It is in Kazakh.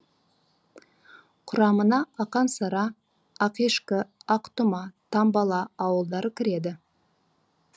құрамына ақын сара ақешкі ақтұма тамбала ауылдары кіреді